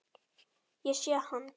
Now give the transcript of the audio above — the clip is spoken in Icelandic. Ég sé hann.